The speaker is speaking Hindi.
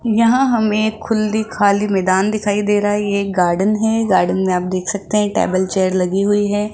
यहां हम एक खुली खाली मैदान दिखाई दे रहा है ये एक गार्डन है गार्डन में आप देख सकते हैं टेबल चेयर लगी हुई है।